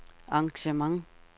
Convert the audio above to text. engagement